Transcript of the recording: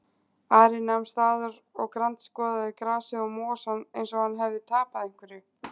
Ari nam staðar og grandskoðaði grasið og mosann eins og hann hefði tapað einhverju.